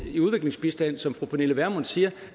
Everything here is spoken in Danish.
i udviklingsbistand som fru pernille vermund siger